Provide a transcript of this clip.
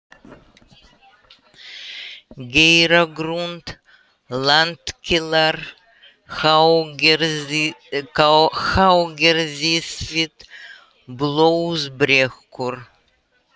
Geiragrund, Landkílar, Háagerðisfit, Blóðbrekkur